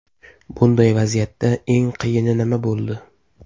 Bunday vaziyatda eng qiyini nima bo‘ldi?